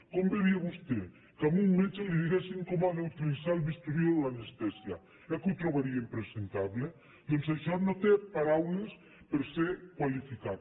com veuria vostè que a un metge li diguessin com ha d’utilitzar el bisturí o l’anestèsia eh que ho trobaria impresentable doncs això no té paraules per ser qualificat